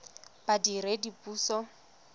badiredipuso